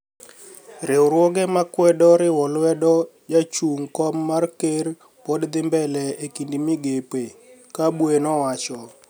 Riwruoge ma kwedo riwolwedo ja chunig kom mar ker pod dhimbele ekinid migepe kabwe nowacho.